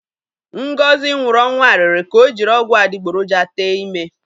Ngozi nwụrụ ọnwụ arịrị ka o jiri ọgwụ adịgboroja tee ime.